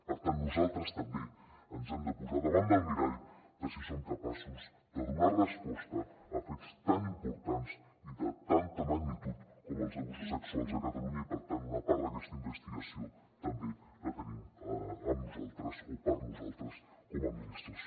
per tant nosaltres també ens hem de posar davant del mirall de si som capaços de donar resposta a fets tan importants i de tanta magnitud com els abusos sexuals a catalunya i per tant una part d’aquesta investigació també la tenim amb nosaltres o per nosaltres com a administració